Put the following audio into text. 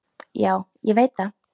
Já, ég veit það